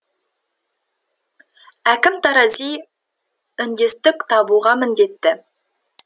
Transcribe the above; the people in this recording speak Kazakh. әкім тарази үндестік табуға міндетті